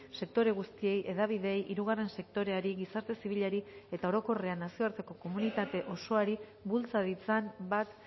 sektore guztiei hedabideei hirugarren sektoreari gizarte zibilari eta orokorrean nazioarteko komunitate osoari bultza ditzan bat